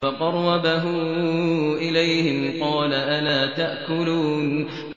فَقَرَّبَهُ إِلَيْهِمْ قَالَ أَلَا تَأْكُلُونَ